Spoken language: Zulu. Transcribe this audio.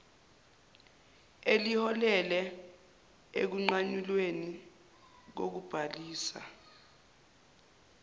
eliholele ekunqanyulweni kokubhalisa